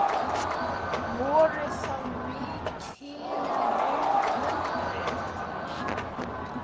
Voru það mikil vonbrigði?